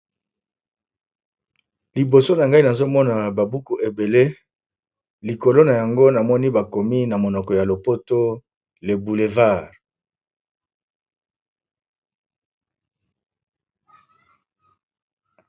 Liboso na ngai nazomona babuku ebele likolo na yango namoni bakomi na monoko ya lopoto le boulevard.